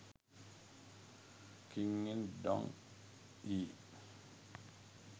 king in dong yi